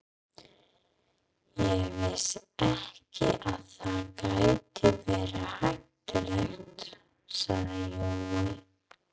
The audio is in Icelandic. Ég vissi ekki að það gæti verið hættulegt, sagði Jói.